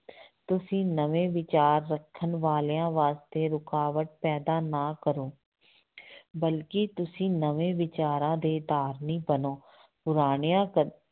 ਤੁਸੀਂ ਨਵੇਂ ਵਿਚਾਰ ਰੱਖਣ ਵਾਲਿਆਂ ਵਾਸਤੇ ਰੁਕਾਵਟ ਪੈਦਾ ਨਾ ਕਰੋ ਬਲਕਿ ਤੁਸੀਂ ਨਵੇਂ ਵਿਚਾਰਾਂ ਦੇ ਧਾਰਨੀ ਬਣੋ, ਪੁਰਾਣਿਆਂ ਕ